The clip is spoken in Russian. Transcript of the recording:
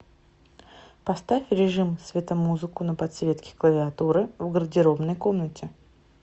поставь режим светомузыку на подсветке клавиатуры в гардеробной комнате